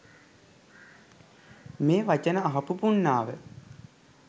මේ වචන අහපු පුණ්ණාව